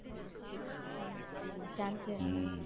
ચાંદખેડામાં હમ